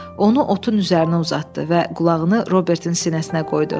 Onu otun üzərinə uzatdı və qulağını Robertnin sinəsinə qoydu.